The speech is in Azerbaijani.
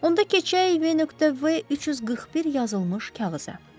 Onda keçək V.V 341 yazılmış kağıza.